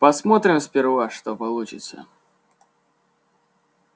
посмотрим сперва что получится